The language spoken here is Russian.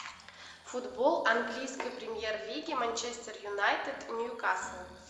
футбол английской премьер лиги манчестер юнайтед ньюкасл